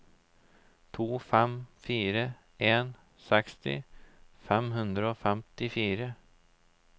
to fem fire en seksti fem hundre og femtifire